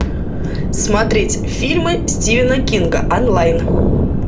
смотреть фильмы стивена кинга онлайн